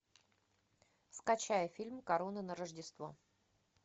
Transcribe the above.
скачай фильм корона на рождество